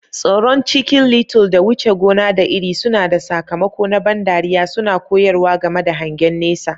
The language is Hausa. Tsoron Chicken Little da wuce gona da iri suna da sakamako na ban dariya, suna koyarwa game da hangen nesa.